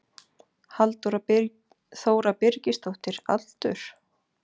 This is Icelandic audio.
Halldóra Þóra Birgisdóttir Aldur?